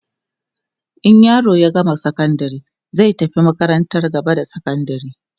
in yaro ya gama sakandari zai tafi makarantar gaba da sakandari